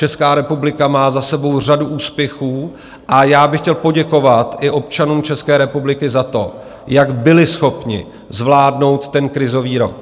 Česká republika má za sebou řadu úspěchů a já bych chtěl poděkovat i občanům České republiky za to, jak byli schopni zvládnout ten krizový rok.